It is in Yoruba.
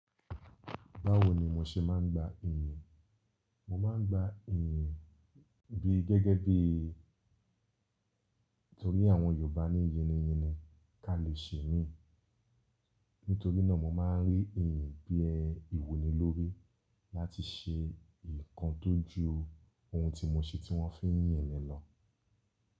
Báwo ni mo ṣe máa ń gba iyì? Mo máa ń gba iyì bí gẹ́gẹ́ bí torí àwọn Yorùbá ní "yín ni yín ni ká lè ṣe mí." Nítorí náà mo máa ń rí iyì bí ẹ ìwuni lórí láti ṣe ǹkan tó ju ohun tí mo ṣe tí wọ́n fi ń yìn mi lọ.